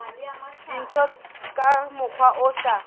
dintho ka mokgwa o sa